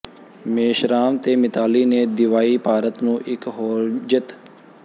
ਮੇਸ਼ਰਾਮ ਤੇ ਮਿਤਾਲੀ ਨੇ ਦਿਵਾਈ ਭਾਰਤ ਨੂੰ ਇਕ ਹੋਰ ਜਿੱਤ